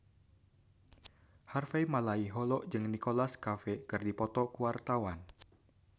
Harvey Malaiholo jeung Nicholas Cafe keur dipoto ku wartawan